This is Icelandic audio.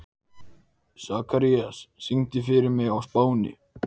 Hann skilur engin ósköp í íslensku.